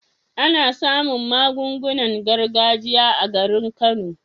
Ana samun magungunan gargajiya a garin kano